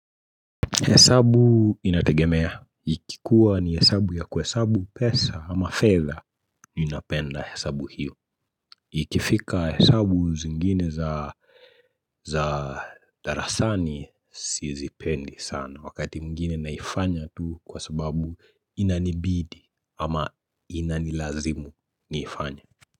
Hesabu inategemea. Ikikua ni hesabu ya kuhesabu pesa ama fedha ninapenda hesabu hiyo. Ikifika hesabu zingine za za darasani Sizipendi sana. Wakati mwingine naifanya tu Kwa sababu inanibidi ama inanilazimu Niifanyae.